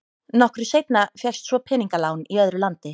Nokkru seinna fékkst svo peningalán í öðru landi.